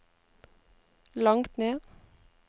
langt ned